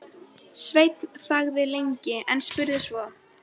Sveinn þagði lengi, en spurði svo